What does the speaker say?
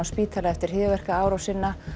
spítala eftir hryðjuverkaárásina